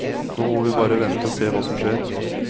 Nå må vi bare vente og se hva som skjer.